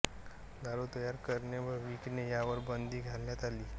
दारु तयार करणे व विकणे यावर बंदी घालण्यात आली